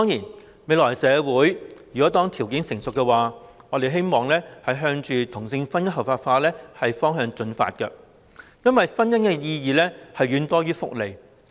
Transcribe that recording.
當未來的社會條件成熟時，我們當然希望能朝着同性婚姻合法化的方向進發，因為婚姻的意義實在遠多於其福利。